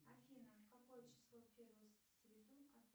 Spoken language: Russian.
афина какое число в первую среду